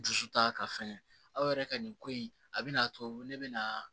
Dusu ta ka fɛgɛ aw yɛrɛ ka nin ko in a bi n'a to ne bɛ na